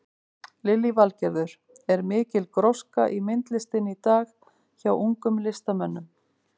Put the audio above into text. Lillý Valgerður: Er mikil gróska í myndlistinni í dag hjá ungum listamönnum?